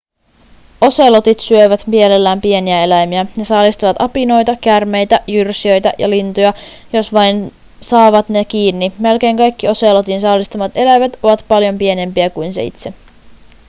oselotit syövät mielellään pieniä eläimiä ne saalistavat apinoita käärmeitä jyrsijöitä ja lintuja jos vain saavat ne kiinni melkein kaikki oselotin saalistamat eläimet ovat paljon pienempiä kuin se itse